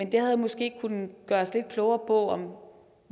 det havde måske kunnet gøre os lidt klogere på